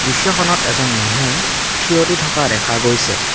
দৃশ্যখনত এজন মানুহ থিয় দি থকা দেখা গৈছে।